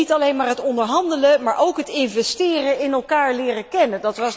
Niet alleen maar het onderhandelen, maar ook het investeren in elkaar leren kennen.